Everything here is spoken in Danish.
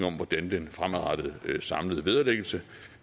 om hvordan den fremadrettede samlede vederlæggelse